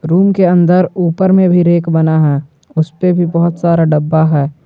Room के अंदर ऊपर में भी रेक बना है उसपे भी बहोत सारा डब्बा है।